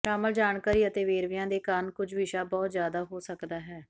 ਸ਼ਾਮਲ ਜਾਣਕਾਰੀ ਅਤੇ ਵੇਰਵਿਆਂ ਦੇ ਕਾਰਨ ਕੁਝ ਵਿਸ਼ਾ ਬਹੁਤ ਜ਼ਿਆਦਾ ਹੋ ਸਕਦਾ ਹੈ